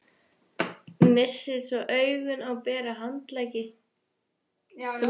Missir svo augun á bera handleggi